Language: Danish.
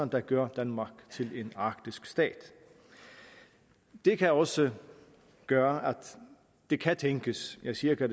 der gør danmark til en arktisk stat det kan også gøre at det kan tænkes jeg siger ikke at